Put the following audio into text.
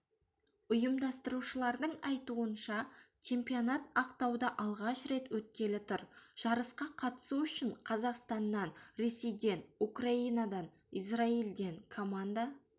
ұйымдастырушылардың айтуынша чемпионат ақтауда алғаш рет өткелі тұр жарысқа қатысу үшін қазақстаннан ресейден украинадан израилден команда